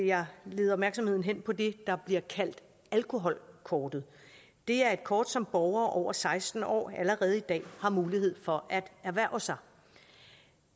jeg lede opmærksomheden hen på det der bliver kaldt alkoholkortet det er et kort som borgere over seksten år allerede i dag har mulighed for at erhverve sig